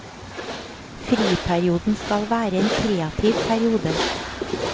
Friperioden skal være en kreativ periode.